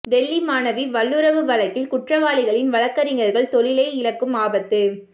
டெல்லி மாணவி வல்லுறவு வழக்கில் குற்றவாளிகளின் வழக்கறிஞர்கள் தொழிலை இழக்கும் ஆபத்து